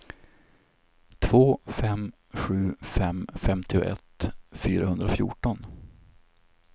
två fem sju fem femtioett fyrahundrafjorton